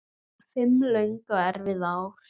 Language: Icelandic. Fimm löng og erfið ár.